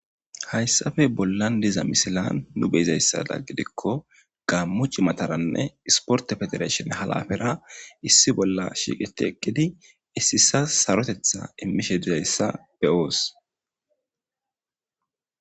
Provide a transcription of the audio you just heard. Hayssappe bollan dizza missilan nu beizayssa giddiko gamo ciimataranne issipporte fedireshinne halapera issi bolla shiqeti eqqidi issi issas saroteththa immishe dizayssa be7os.